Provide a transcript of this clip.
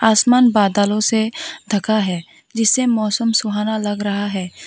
आसमान बादलों से ढका है जिसे मौसम सुहाना लग रहा है।